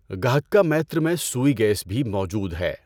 گهکّا میتر میں سوئی گیس بھی موجود ہے۔